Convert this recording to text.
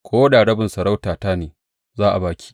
Ko da rabin masarautata ne, za a ba ki.